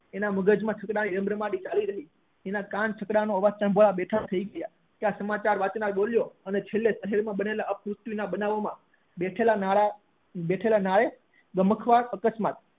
એના મગજ માં રમ રમાટી ચાલી રહી હતી એના કાન છકડો નો અવાજ સાંભળવા જ બેઠા હતા ત્યાં સમાચાર વાંચનાર બોલ્યો શહેર માં બનેલા અપ્ર્વૃતી ના બેઠેલા નાર બેઠેલા નારે અકસ્માત